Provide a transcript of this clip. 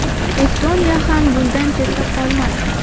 Estoniya ham bundan chetda qolmadi.